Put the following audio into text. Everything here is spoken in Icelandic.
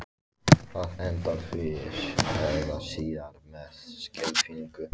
Það endar fyrr eða síðar með skelfingu.